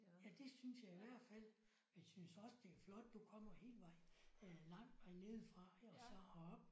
Ja det synes jeg i hvert fald og jeg synes også det er flot du kommer hele vejen øh lang vej nedefra ik og så herop